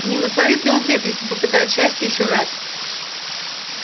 не натворит ли он бед если попытает счастья ещё раз